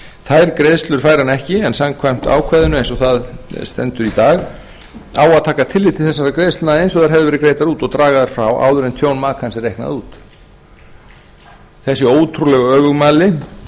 þær greiðslur fær hann ekki en samkvæmt ákvæðinu eins og það stendur í dag á að taka tillit til þessara greiðslna eins og þær hefðu verið greiddar út og draga þær frá áður en tjón makans er reiknað út þessi ótrúlegu öfugmæli